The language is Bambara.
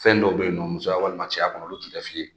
Fɛn dɔw bɛ yen nɔ musoya walima cɛya kɔnɔ olu tun tɛ f'i ye